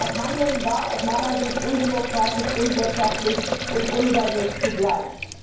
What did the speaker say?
Dieses Handeln war aus meiner Sicht undemokratisch, unwirtschaftlich und unüberlegt zugleich.